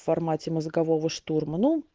в формате мозгового штурма ну